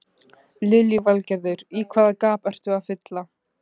Lillý Valgerður: Í hvaða gap ertu að fylla?